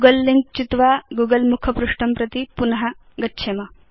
Google link चित्वा Google मुखपृष्ठं प्रति पुन गच्छेम